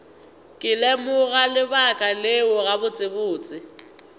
ke lemoga lebaka leo gabotsebotse